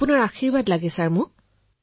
আপোনাৰ আশীৰ্বাদ লাগে মোক